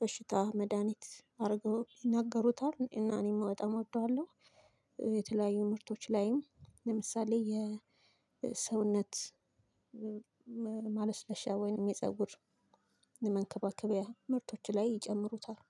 በሽታ መድሃኒት አድርገው ይናገሩታል። እና እኔም በጣም እወደዋለሁ። የተለያዩ ምርቶች ላይም ለምሳሌ የሰውነት ሰውነት ማለስለሻ ወይንም የፀጉር መንከባከቢያ ምርቶች ላይ ይጨምሩታል።